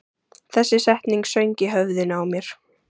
Þessi setning söng í höfðinu á mér.